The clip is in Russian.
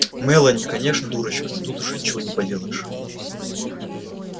мелани конечно дурочка но тут уже ничего не поделаешь